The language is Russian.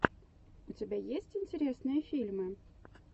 у тебя есть интересные фильмы